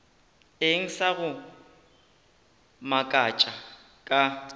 eng sa go makatša ka